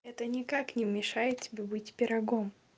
это никак не мешает тебе быть пирогом